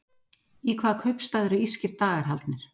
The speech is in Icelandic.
Í hvaða kaupstað eru írskir dagar haldnir?